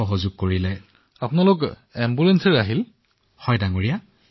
ছফদৰজং চিকিৎসালয়ত ইতিমধ্যেই গেটত চিকিৎসক ৰৈ আছিল